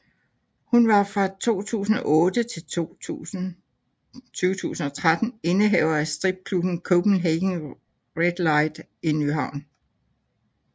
Hun var fra 2008 til 2013 indehaver af stripklubben Copenhagen Redlight i Nyhavn